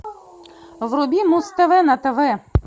вруби муз тв на тв